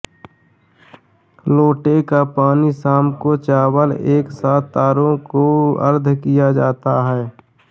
लोटे का पानी शाम को चावल के साथ तारों को आर्ध किया जाता है